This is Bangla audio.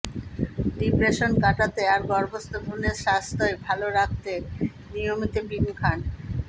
ডিপ্রেশন কাটাতে আর গর্ভস্থ ভ্রুণের স্বাস্থ্য় ভালো রাখতে নিয়মিত বিন খান